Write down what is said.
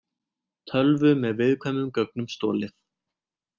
Tölvu með viðkvæmum gögnum stolið